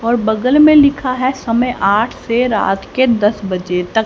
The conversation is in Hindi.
और बगल में लिखा है समय आठ से रात के दस बजे तक।